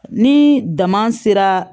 Ni dama sera